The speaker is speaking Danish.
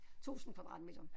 1000 kvadratmeter